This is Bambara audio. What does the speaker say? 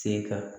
Se ka